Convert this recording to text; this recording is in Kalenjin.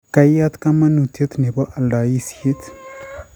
Kaiyat kamanuutyet ne po aldaisyek